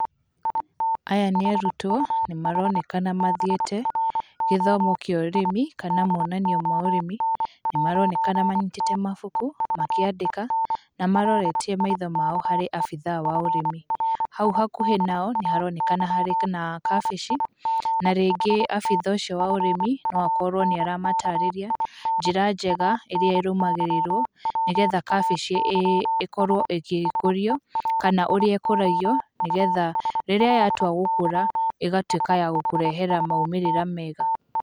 Aya nĩ arutwo, nĩ maronekana mathiĩte, gĩthomo kĩa ũrĩmi kana monanio ma ũrĩmi, nĩ maronekana manyitĩte mabuku, makĩandĩka na maroretie maitho mao harĩ abithaa wa ũrĩmi. Hau hakuhĩ nao, nĩ haronekana harĩ na kabici, na rĩngĩ abithaa ũcio wa ũrĩmi no akorwo nĩ aramatarĩria njĩra njega ĩrĩa ĩrũmagĩrĩrwo, nĩgetha kabici ĩkorwo ĩgĩkũrio, kana ũrĩa ĩkũragio, nĩgetha rĩrĩa yatua gũkũra, ĩgatuĩka ya gũkũrehera maumĩrĩra mega.